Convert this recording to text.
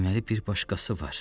Deməli bir başqası var.